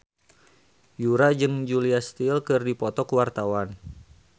Yura jeung Julia Stiles keur dipoto ku wartawan